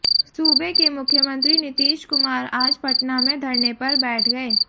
सूबे के मुख्यमंत्री नीतीश कुमार आज पटना में धरने पर बैठ गए